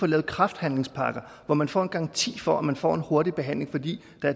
lavet kræftbehandlingspakker hvor man får en garanti for at man får en hurtig behandling fordi